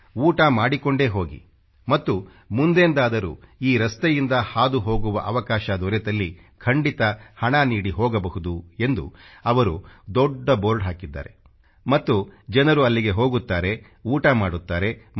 ಊಟ ಮಾಡಿಕೊಂಡೇ ಹೋಗಿ ಮತ್ತು ಮುಂದೆಂದಾದರೂ ಈ ರಸ್ತೆಯಿಂದ ಹಾದು ಹೋಗುವ ಅವಕಾಶ ದೊರೆತಲ್ಲಿ ಖಂಡಿತ ಹಣ ನೀಡಿ ಹೋಗಬಹುದು ಎಂದು ಅವರು ಒಂದು ದೊಡ್ಡ ಬೋರ್ಡ ಹಾಕಿದ್ದಾರೆ ಮತ್ತು ಜನರು ಅಲ್ಲಿಗೆ ಹೋಗುತ್ತಾರೆ ಊಟ ಮಾಡುತ್ತಾರೆ ಮತ್ತು